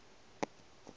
ba et e ba na